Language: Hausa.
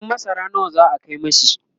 buhun masara nawa za'a Kai mishi?